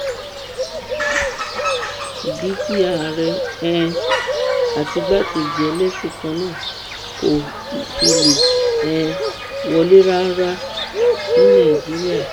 ìdí tí ààrẹ um àti igbákejì ẹlẹsìn kan náà kò fi lè um wọlé rárá ní nàìjíríà